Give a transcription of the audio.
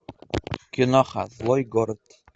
киноха злой город